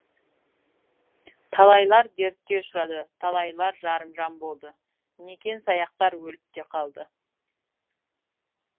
талайлар дертке ұшырады талайлар жарымжан болды некен саяқтар өліп те қалды